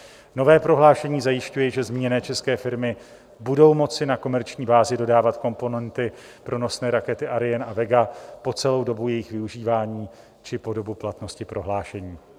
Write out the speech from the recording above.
Nové prohlášení zajišťuje, že zmíněné české firmy budou moci na komerční bázi dodávat komponenty pro nosné rakety Ariane a Vega po celou dobu jejich využívání či po dobu platnosti prohlášení.